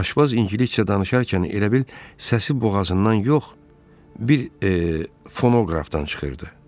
Aşpaz ingiliscə danışarkən elə bil səsi boğazından yox, bir fonoqrafdan çıxırdı.